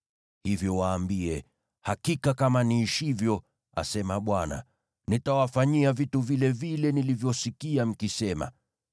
Hivyo waambie, ‘Hakika kama niishivyo, asema Bwana , nitawafanyia vitu vilevile nilivyosikia mkisema: